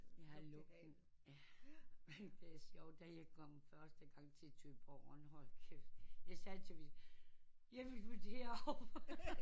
Jeg har lugten det er sjovt da jeg kom første gang til Thyborøn hold kæft jeg sagde til min jeg vil flyt der over